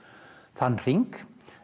þann hring